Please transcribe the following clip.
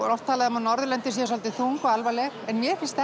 er oft talað um að Norðurlöndin séu svolítið þung og alvarleg en mér finnst